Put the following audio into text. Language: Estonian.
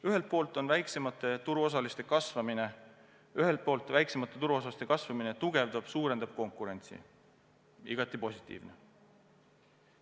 Ühelt poolt väiksemate turuosaliste kasvamine tugevdab-suurendab konkurentsi ja on igati positiivne.